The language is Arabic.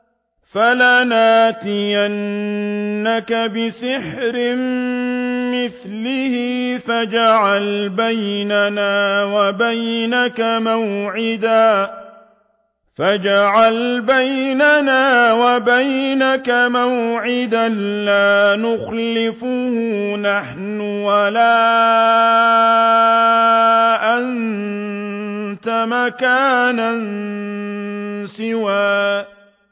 فَلَنَأْتِيَنَّكَ بِسِحْرٍ مِّثْلِهِ فَاجْعَلْ بَيْنَنَا وَبَيْنَكَ مَوْعِدًا لَّا نُخْلِفُهُ نَحْنُ وَلَا أَنتَ مَكَانًا سُوًى